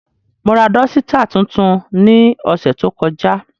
Mo ra dọsitạ tuntun ni ọsẹ to kọja.